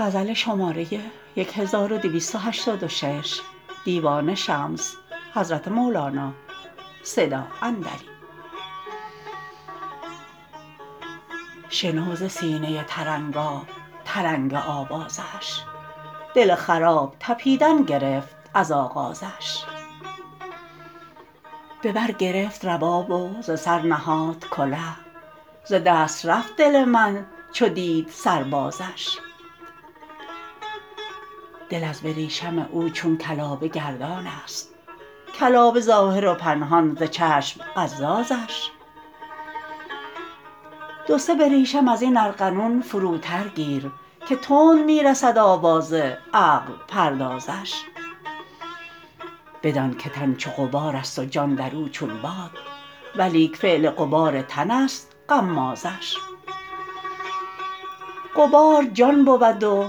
شنو ز سینه ترنگاترنگ آوازش دل خراب طپیدن گرفت از آغازش به بر گرفت رباب و ز سر نهاد کله ز دست رفت دل من چو دید سر بازش دل از بریشم او چون کلابه گردانست کلابه ظاهر و پنهان ز چشم قزازش دو سه بریشم از این ارغنون فروتر گیر که تند می رسد آواز عقل پردازش بدانک تن چو غبارست و جان در او چون باد ولیک فعل غبار تنست غمازش غبار جان بود و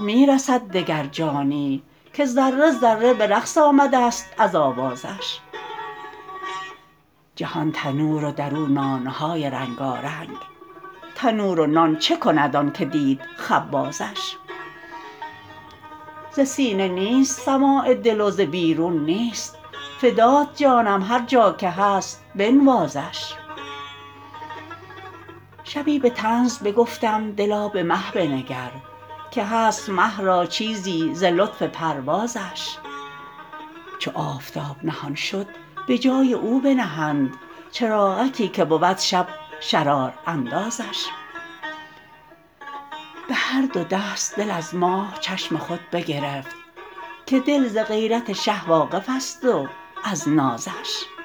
می رسد دگر جانی که ذره ذره به رقص آمدست از آوازش جهان تنور و در آن نان های رنگارنگ تنور و نان چه کند آنک دید خبازش ز سینه نیست سماع دل و ز بیرون نیست فدات جانم هر جا که هست بنوازش شبی به طنز بگفتم دلا به مه بنگر که هست مه را چیزی ز لطف پروازش چو آفتاب نهان شد به جای او بنهند چراغکی که بود شب شراراندازش به هر دو دست دل از ماه چشم خود بگرفت که دل ز غیرت شه واقفست و از نازش